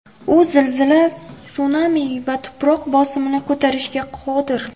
U zilzila, sunami va tuproq bosimini ko‘tarishga qodir.